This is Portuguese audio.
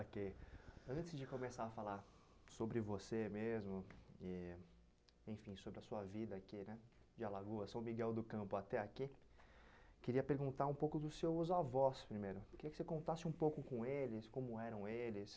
Ok, antes de começar a falar sobre você mesmo e enfim sobre a sua vida aqui né de Alagoas, São Miguel do Campo até aqui, queria perguntar um pouco dos seus avós primeiro, queria que você contasse um pouco com eles, como eram eles,